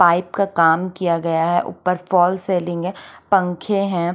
Pipe का काम किया गया है उपर फोल्स सेल्लिंग है पंखे है।